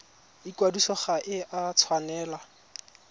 ikwadiso ga e a tshwanela